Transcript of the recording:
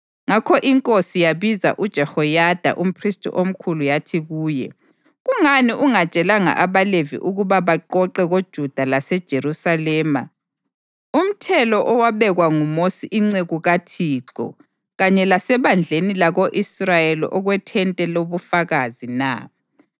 Ngakho inkosi yabiza uJehoyada umphristi omkhulu yathi kuye, “Kungani ungatshelanga abaLevi ukuba baqoqe koJuda laseJerusalema umthelo owabekwa nguMosi inceku kaThixo kanye lasebandleni lako-Israyeli okweThente loBufakazi na?”